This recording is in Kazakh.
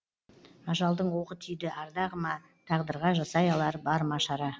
ажалдың оғы тиді ардағыма тағдырға жасай алар бар ма шара